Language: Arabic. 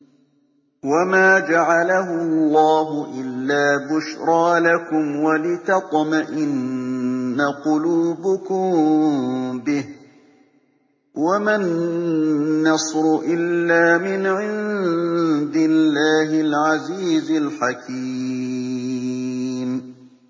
وَمَا جَعَلَهُ اللَّهُ إِلَّا بُشْرَىٰ لَكُمْ وَلِتَطْمَئِنَّ قُلُوبُكُم بِهِ ۗ وَمَا النَّصْرُ إِلَّا مِنْ عِندِ اللَّهِ الْعَزِيزِ الْحَكِيمِ